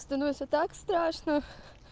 становится так страшно